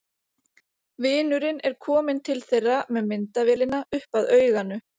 Vinurinn er kominn til þeirra með myndavélina upp að auganu.